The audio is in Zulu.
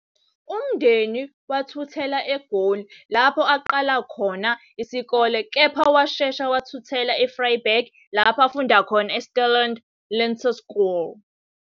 Umndeni wathuthela eGoli, lapho aqala khona isikole, kepha washeshe wathuthela eVryburg lapho afunda khona eStellaland Laeterskool.